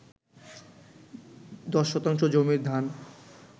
১০ শতাংশ জমির ধান